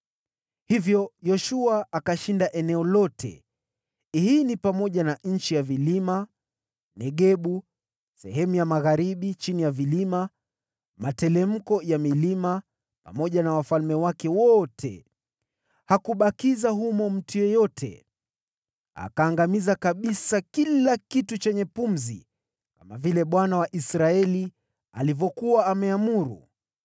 Hivyo Yoshua akalishinda eneo hilo lote, ikiwa ni pamoja na nchi ya vilima, na Negebu, na sehemu ya magharibi chini ya vilima, materemko ya milima, pamoja na wafalme wake wote. Hakubakiza mtu yeyote. Akaangamiza kabisa kila kitu chenye pumzi, kama vile Bwana , Mungu wa Israeli, alivyokuwa ameamuru.